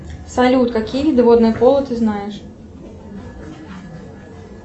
салют какие виды водного поло ты знаешь